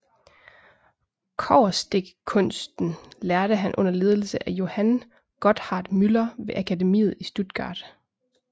Kobberstikkkunsten lærte han under ledelse af Johann Gotthard Müller ved akademiet i Stuttgart